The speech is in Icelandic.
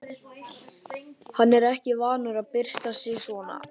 Hann er ekki vanur að byrsta sig svona.